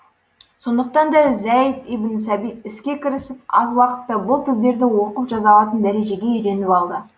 сондықтан да зәйд ибн сәбит іске кірісіп аз уақытта бұл тілдерді оқып жаза алатын дәрежеде үйреніп алды